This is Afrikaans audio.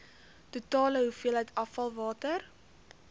totale hoeveelheid afvalwater